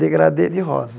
Degradê de rosa.